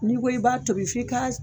N'i ko i b'a tobi f'i ka